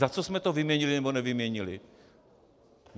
Za co jsme to vyměnili, nebo nevyměnili?